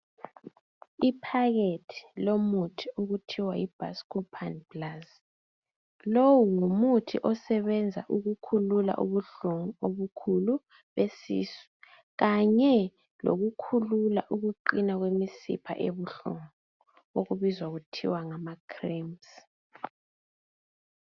Iphakethe lomuthi okuthwa yiBhasikophani plazi. Lo ngumuthi osebenza ukukhulula ubuhlungu obukhulu besisu kanye lokukhulula ukuqina kwemsipha ebuhlungu ebizwa kuthiwa ngamacramps.